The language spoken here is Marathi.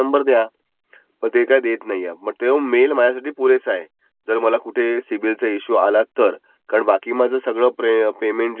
मग आपला रेच ऑफ इंट्रेस्टचा इश्यु येत नाही. बॅंक कॉल घेऊ शकते. पण हा एक फायदा आहे पण त्याच्यामध्ये दोन तीन प्रकारच्या स्कीमस् आहेत.